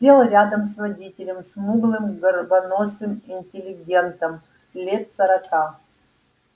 сел рядом с водителем смуглым горбоносым интеллигентом лет сорока